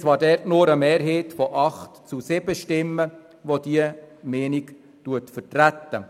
Es gab allerdings nur eine Mehrheit von 8 zu 7 Stimmen, welche diese Meinung vertritt.